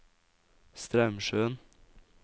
Straumsjøen